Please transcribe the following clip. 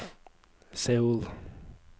Seoul